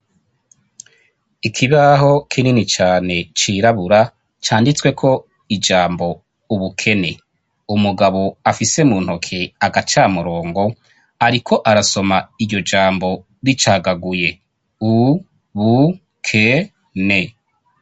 ikibaho kinini cyane cirabura canditswe ko ijambo ubukene umugabo afise mu ntoke agacamurongo ariko arasoma iyo jambo ricagaguye u bu ke ne